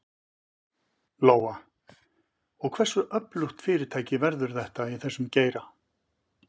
Lóa: Og hversu öflugt fyrirtæki verður þetta í þessum geira?